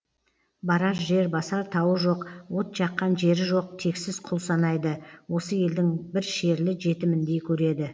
барар жер басар тауы жоқ от жаққан жері жоқ тексіз құл санайды осы елдің бір шерлі жетіміндей көреді